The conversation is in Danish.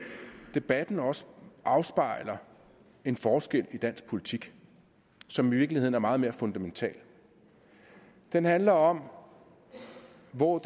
debatten også afspejler en forskel i dansk politik som i virkeligheden er meget mere fundamental den handler om hvor